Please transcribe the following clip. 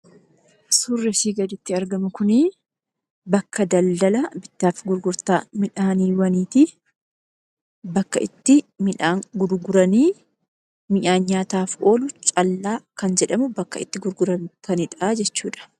Surrii asii gaditti argamu kunii, bakka daldala bittaaf gurgurtaa miidhaaniiwwaniitii. Bakka itti midhaan gurguranii. Midhaan nyaataaf oolu callaa kan jedhamu bakka itti gurguraniidhaa jechuudha.